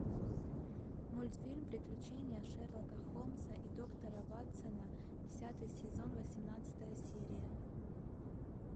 мультфильм приключения шерлока холмса и доктора ватсона десятый сезон восемнадцатая серия